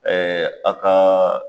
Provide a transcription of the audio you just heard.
Ɛɛ a kaa